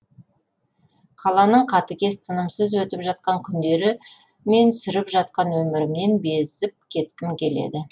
қаланың қатыгез тынымсыз өтіп жатқан күндері мен сүріп жатқан өмірімнен безіп кеткім келеді